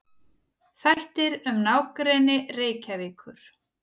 Þættir um nágrenni Reykjavíkur.